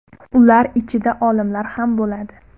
Ular ichida olimlar ham bo‘ladi.